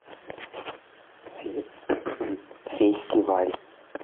фестиваль